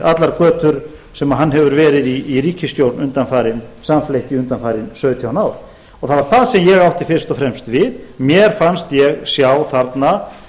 allar götur sem hann hefur verið í ríkisstjórn samfleytt undanfarin sautján ár og það var það sem ég átti fyrst og fremst við mér fannst ég sjá þarna